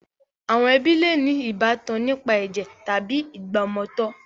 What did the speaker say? Àwọn ẹbí le ní ìbátan nípa ẹ̀jẹ̀ tàbí ìgbàmọtọ̀.